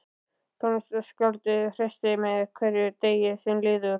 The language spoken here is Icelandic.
Tónskáldið hressist með hverjum degi sem líður.